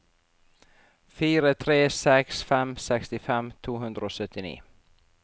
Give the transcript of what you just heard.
fire tre seks fem sekstifem to hundre og syttini